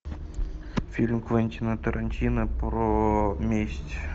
фильм квентина тарантино про месть